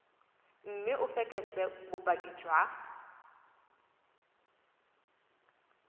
mme o fekese bopaki jwa